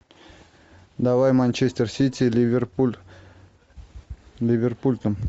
давай манчестер сити ливерпуль ливерпуль там